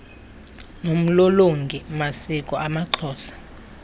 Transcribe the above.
nomlolongi masiko amaxhosa